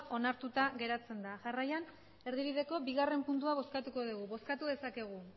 onartuta geratzen da jarraian erdibideko bigarren puntua bozkatuko dugu bozkatu dezakegu